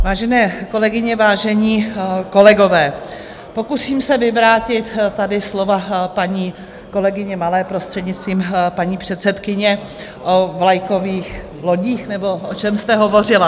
Vážené kolegyně, vážení kolegové, pokusím se vyvrátit tady slova paní kolegyně Malé, prostřednictvím paní předsedkyně, o vlajkových lodích, nebo o čem jste hovořila.